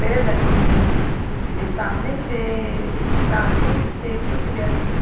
पेड़ लगे हुए हैं। वे सामने से सामने से कुछ व्यक्ति --